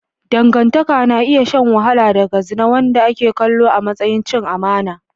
Dangantaka na iya shan wahala daga zina, wanda ake kallo a matsayin cin amana.